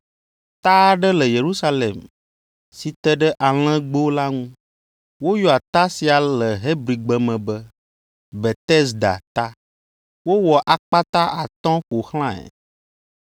Ta aɖe le Yerusalem si te ɖe Alẽgbo la ŋu. Woyɔa ta sia le Hebrigbe me be, Betesda Ta. Wowɔ akpata atɔ̃ ƒo xlãe.